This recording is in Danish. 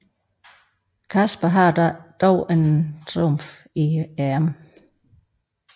Casper har dog en trumf i ærmet